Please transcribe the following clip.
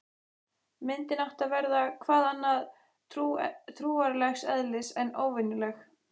Myndin átti að verða- hvað annað- trúarlegs eðlis, en óvenjuleg.